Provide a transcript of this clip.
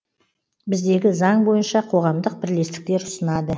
біздегі заң бойынша қоғамдық бірлестіктер ұсынады